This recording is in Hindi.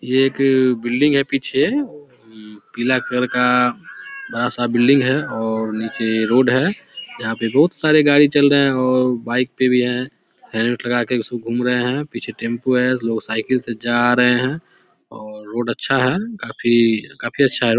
ये एक बिल्डिंग है पीछे पीला कलर का बड़ा-सा बिल्डिंग है और नीचे रोड है जहां पे बहुत सारे गाड़ी चल रहा है और बाइक पे भी है हेल्मेट लगाके उसपे घूम रहे है पीछे टेम्पो है लोग साईकल से जा रहे है और रोड अच्छा है काफी अच्छा है ओ --